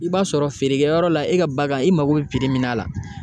I b'a sɔrɔ feerekɛyɔrɔ la e ka bagan i mago bɛ min na la